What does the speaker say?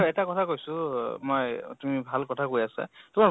এটা কথা কৈছো মই অহ তুমি ভাল কথা কৈছা তোমাৰ